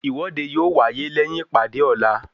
Ìwọ́de yóò wáyé lẹyìn ìpàdé ọ̀la